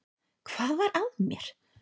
Hvað var að mér!